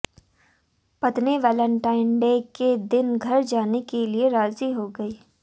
पत्नी Valentine Day के दिन घर जाने के लिए राजी हो गई